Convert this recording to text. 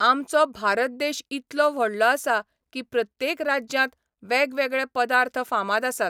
आमचो भारत देश इतलो व्हडलो आसा की प्रत्येक राज्यांत वेगवेगळे पदार्थ फामाद आसात.